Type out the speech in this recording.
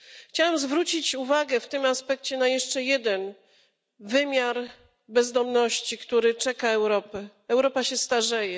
Chciałam zwrócić uwagę w tym aspekcie na jeszcze jeden wymiar bezdomności, który czeka Europę Europa się starzeje.